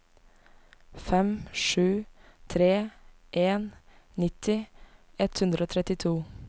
fem sju tre en nitti ett hundre og trettito